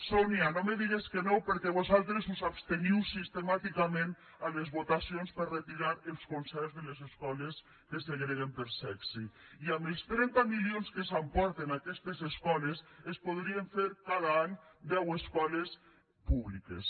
sonia no me digues que no perquè vosaltres us absteniu sistemàticament a les votacions per a retirar els concerts de les escoles que segreguen per sexe i amb els trenta milions que s’emporten aquestes escoles es podrien fer cada any deu escoles públiques